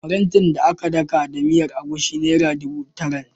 Farantin da aka daka da miyar egusi naira dubu tara.